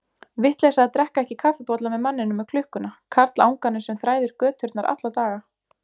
Vitleysa að drekka ekki kaffibolla með manninum með klukkuna, karlanganum sem þræðir göturnar alla daga.